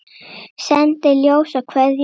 Sendi ljós og kveðju hlýja.